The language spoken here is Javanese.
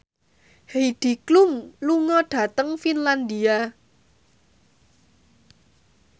Heidi Klum lunga dhateng Finlandia